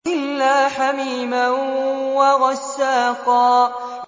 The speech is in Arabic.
إِلَّا حَمِيمًا وَغَسَّاقًا